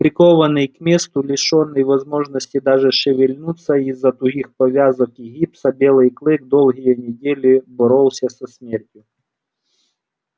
прикованный к месту лишённый возможности даже шевельнуться из за тугих повязок и гипса белый клык долгие недели боролся со смертью